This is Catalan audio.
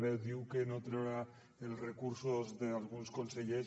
bé diu que no traurà els recursos d’alguns consellers